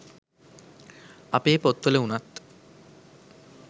අපේ පොත්වල උනත්